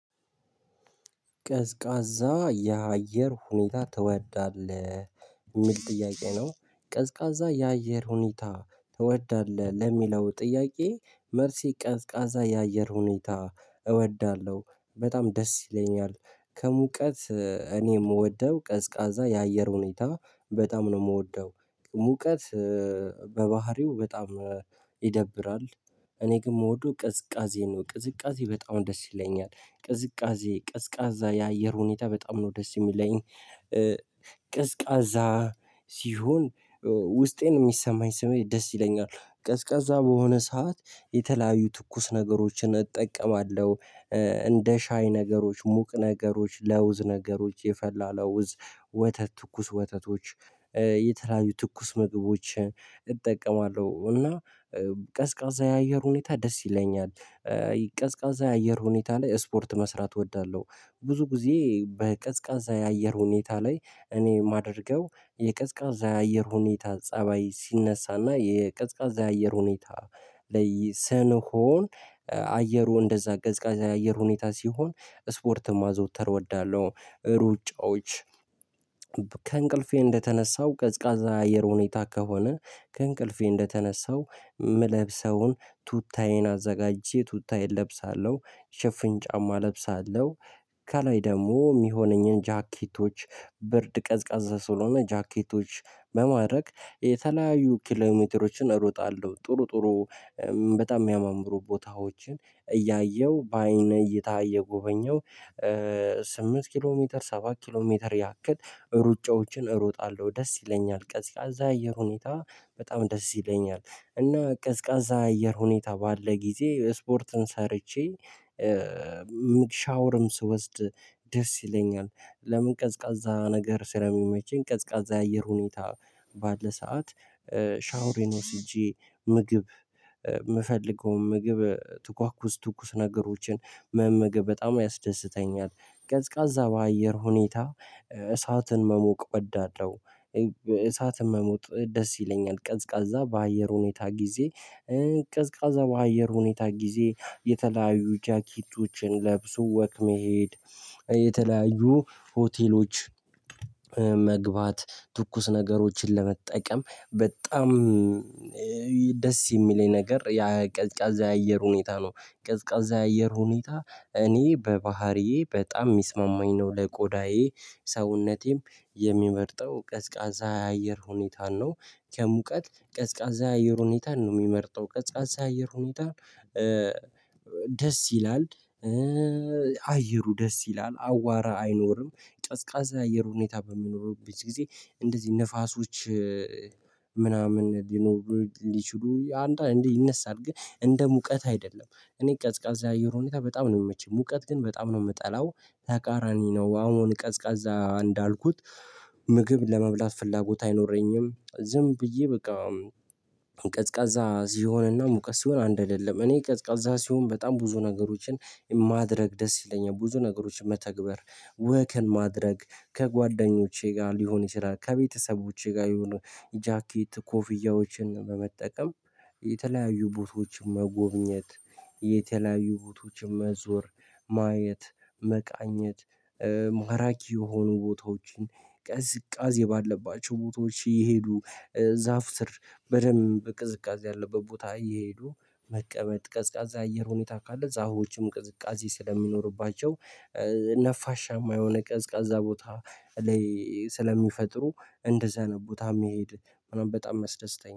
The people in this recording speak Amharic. ቀዝቃዛ የአየር ሁኔታ ትወዳለህ የሚል ጥያቄ ነው? ቀዝቃዛ የአየር ሁኔታ ትወዳለህ ለሚለው ጥያቄ መልሴ ቀዝቃዛ የአየር ሁኔታ እወዳለሁ በጣም ደስ ይለኛል። ከሙቀት እኔ የምወደው ቀዝቃዛ የአየር ሁኔታ በጣም ነው የምወደው። ሙቀት በባህሪው በጣም ይደብራል። እኔ ግን መውደው ቅዝቃዜን ነው ቅዝቃዜ በጣም ደስ ይለኛል ቅዝቃዜ ቀዝቃዛ የአየር ሁኔታ በጣም ነው ደስ የሚለኝ። ቀዝቃዛ ሲሆን ውስጤን የሚሰማኝ ስሜት ደስ ይለኛል ቀዝቃዛ በሆነ ሰዓት የተለያዩ ትኩስ ነገሮችን እጠቀማለሁ። እንደ ሻይ ነገሮች ሙቅ ነገሮች ለውዝ ነገሮች የፈላ ለውዝ ትኩስ ወተቶች። የተለያዩ ትኩስ ምግቦችን እጠቀማለሁ እና ቀዝቃዛ የአየር ሁኔታ ደስ ይለኛል። ቀዝቃዛ የአየር ሁኔታ ላይ ስፖርት መስራት እወዳለሁ። ብዙ ጊዜ በቀዝቃዛ የአየር ሁኔታ ላይ እኔ የማደርገው የቀዝቃዛ የአየር ሁኔታ ፀባይ ሲነሳና የቅዝቃዜ አየር ሁኔታ። ላይ ስንሆን አየሩ እንደዛ ቀዝቃዜ አየር ሁኔታ ሲሆን ስፖርት ማዝውተር እወዳለሁ ሩጫዎች። ከእንቅልፌ እንደተነሳው ቀዝቃዛ አየር ሁኔታ ከሆነ ከእንቅልፌ እንደተነሳው ምለብሰውን ቱታዬን አዘጋጅቼ ቱታዬን እለብሳለሁ ሽፍን ጫማ እለብሳለሁ ከላይ ደግሞ የሚሆነኝን ጃኬቶች ብርድ ቀዝቃዛ ስለሆነ ጃኬቶች በማድረግ የተለያዩ ኪሎሜትሮችን እሮጣለሁ ጥሩ ጥሩ በጣም የሚያማምሩ ቦታዎችን እያየው በአይነ እይታ እየጎበኘሁ። ስምንት ኪሎ ሜትር ሰባት ኪሎ ሜትር ያክል ሩጫዎችን እሮጣለሁ ደስ ይለኛል ቀዝቃዛ አየር ሁኔታ በጣም ደስ ይለኛል። እና ቀዝቃዛ አየር ሁኔታ ባለ ጊዜ ስፖርትን ሰርቼ ሻወርም ስወስድ ደስ ይለኛል። ለምን ቀዝቃዛ ነገር ስለሚመቸኝ ቀዝቃዛ የአየር ሁኔታ ባለ ሰዓት ሻውሬን ወስጄ ምግብ የምፈልገውን ምግብ ትኳኩስ ትኩስ ነገሮችን መመገብ በጣም ያስደስተኛል። ቀዝቃዛ በአየር ሁኔታ እሳትን መሞቅ ወዳልለው እሳትን መሞቅ ደስ ይለኛል። ቀዝቃዛ በአየር ሁኔታ ጊዜ ቀዝቃዛ በአየር ሁኔታ ጊዜ የተለያዩ ጃኪቶችን ለብሶ ወክመሄድ። የተለያዩ ሆቴሎች መግባት ትኩስ ነገሮችን ለመጠቀም በጣም ደስ የሚለኝ ነገር ያ ቀዝቃዛ የአየር ሁኔታ ነው። ቀዝቃዛ የአየር ሁኔታ እኔ በባህሪዬ በጣም የሚስማማኝ ነው ለቆዳዬ ሰውነቴም የሚመርጠው ቀዝቃዛ አየር ሁኔታን ነው። ከሙቀት ቀዝቃዛ አየር ሁኔታ ነው የሚመርጠው ቀዝቃዛ አየር ሁኔታ ደስ ይላል። አየሩ ደስ ይላል አዋራ አይኖርም ቀዝቃዛ አየር ሁኔታ በሚኖሩበት ጊዜ እንደዚህ ንፋሶች ሊኖር ሊችሉ አንዳንዴ ይነሳል። ግን እንደ ሙቀት አይደለም እኔ ቀዝቃዛ አየር ሁኔታ በጣም ነው የምመቸው ሙቀት ግን በጣም ነው የምጠላው። ተቃራኒ ነው አሁን ቀዝቃዛ እንዳልኩት ምግብ ለመብላት ፍላጎት አይኖረኝም ዝም ብዬ በቃ። ቀዝቃዛ እዚህ ሆነና ሙቀስ ሲሆን አንድ አይደለም እኔ ቀዝቃዛ ሲሆን በጣም ብዙ ነገሮችን ማድረግ ደስ ይለኛል። ብዙ ነገሮችን መተግበር ወክን ማድረግ ከጓደኞቼ ጋር ሊሆን ይችላል ከቤተሰቦቼ ጋር የሆኑ ጃኬት ኮፍያዎችን በመጠቀም። የተለያዩ ቦታዎችን መጎብኘት የተለያዩ ቦታዎችን መዞር ማየት መቃኘት። ማራኪ የሆኑ ቦታዎችን ቅዝቃዜው ባለባቸው ቦታዎች እይሄዱ ዛፍ ስር በደንብ ቅዝቃዜ ያለበት ቦታ እየሄዱ መቀመጥ ቀዝቃዛ አየር ሁኔታ ካለ ዛፎችም ቅዝቃዜ ስለሚኖርባቸው። ነፋሻማ የሆነ ቀዝቃዛ ቦታ ላይ ስለሚፈጥሩ እንደዛ ነው ቦታ የሚሄድ በጣም ያስደስተኛል